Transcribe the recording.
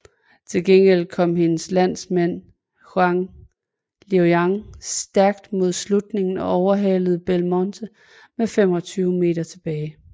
Til gengæld kom hendes landsmand Jiao Liuyang stærkt mod slutningen og overhalede Belmonte med 25 m tilbage